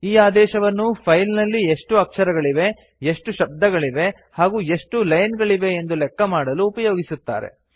ಈ ಆದೇಶವನ್ನು ಫೈಲ್ ನಲ್ಲಿ ಎಷ್ಟು ಅಕ್ಷರಗಳಿವೆ ಎಷ್ಟು ಶಬ್ದಗಳಿವೆ ಹಾಗೂ ಎಷ್ಟು ಲೈನ್ ಗಳಿವೆ ಎಂದು ಲೆಕ್ಕಮಾಡಲು ಉಪಯೋಗಿಸುತ್ತಾರೆ